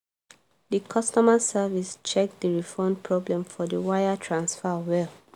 the customer service check the refund problem for the wire transfer well.